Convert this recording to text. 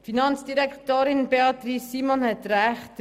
Finanzdirektorin Simon hat recht: